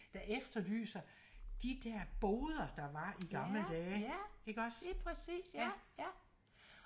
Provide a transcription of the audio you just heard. der efterlyser de der boder der var i gamle dage ikke også ja ja